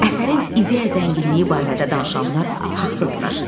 Əsərin ideya zənginliyi barədə danışanlar haqlıdırlar.